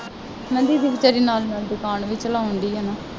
ਮੈਂ ਕਿਹਾ ਦੀਦੀ ਬੇਚਾਰੀ ਨਾਲ ਨਾਲ ਦੁਕਾਨ ਵੀ ਚਲਾਉਣ ਡੇਈ ਹੈ ਨਾ